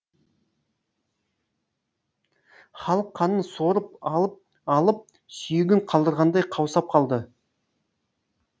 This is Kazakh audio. халық қанын сорып алып алып сүйегін қалдырғандай қаусап қалды